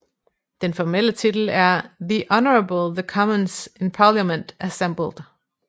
Den formelle titel er The Honourable The Commons in Parliament Assembled